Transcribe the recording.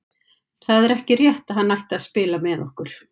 Það er ekki rétt að hann ætti að spila með okkur.